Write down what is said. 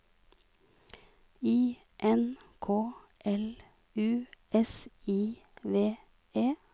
I N K L U S I V E